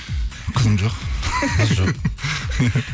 қызым жоқ